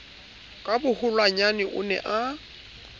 ka boholonyana o ne a